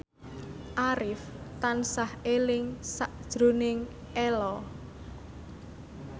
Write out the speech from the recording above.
Arif tansah eling sakjroning Ello